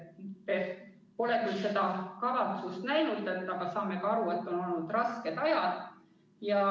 Pole küll veel seda kavatsust näinud, aga saame aru, et on olnud rasked ajad.